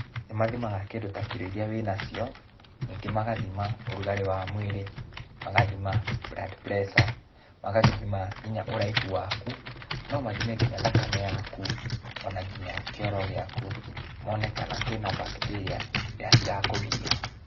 Nĩmathimaga kĩndũ ta kiro iria wĩnacio, ningĩ magathima ũrugarĩ wa mwĩrĩ, magathima blood pressure, magathima kinya ũraihu waku, no mathime kinya thakame yaku, ona nginya kĩoro gĩaku, mone kana kwĩna mbakiteria iria cirakũgia.